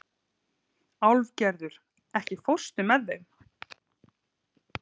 Álfgerður, ekki fórstu með þeim?